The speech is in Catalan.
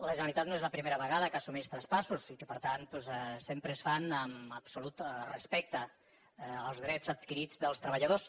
la generalitat no és la primera vegada que assumeix traspassos i que per tant doncs sempre es fan amb absolut respecte pels drets adquirits dels treballadors